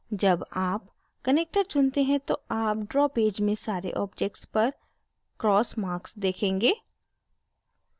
जब आप connector चुनते हैं तो आप draw पेज में सारे objects पर cross marks देखेंगे